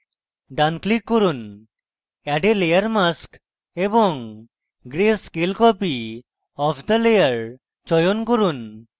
ডান click করুন add a layer mask এবং gray scale copy of the layer চয়ন করুন